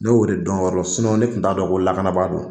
Ne y'o de dɔn o yɔrɔ la ne tun t'a dɔn o lakanabaa don